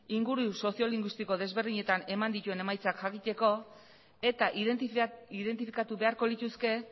inguru soziolingüistiko desberdinetan eman dituen emaitzak jakiteko eta identifikatu beharko lituzke